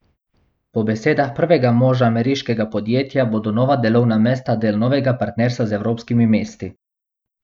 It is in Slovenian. Po besedah prvega moža ameriškega podjetja bodo nova delovna mesta del novega partnerstva z evropskimi mesti.